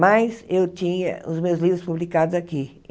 Mas eu tinha os meus livros publicados aqui.